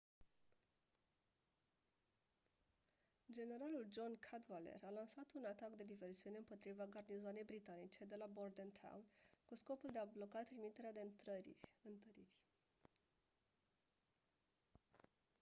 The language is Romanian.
generalul john cadwalder a lansat un atac de diversiune împotriva garnizoanei britanice de la bordentown cu scopul de a bloca trimiterea de întăriri